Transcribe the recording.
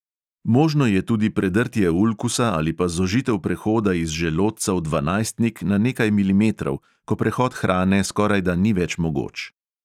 Možno je tudi predrtje ulkusa ali pa zožitev prehoda iz želodca v dvanajstnik na nekaj milimetrov, ko prehod hrane skorajda ni več mogoč.